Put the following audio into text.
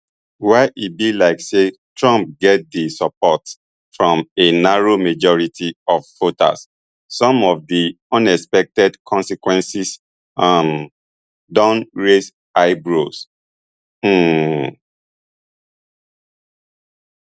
while e be like say trump get di support from a narrow majority of voters some of di unexpected consequences um don raise eyebrows um